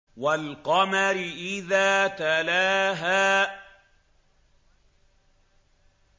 وَالْقَمَرِ إِذَا تَلَاهَا